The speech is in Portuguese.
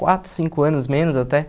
Quatro, cinco anos menos até,